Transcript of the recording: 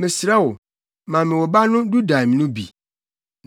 “Mesrɛ wo, ma me wo ba no dudaim + 30.14 dudaim : Eyi ne sɛnea wɔfrɛ dua no wɔ Hebri kasa mu. no bi.”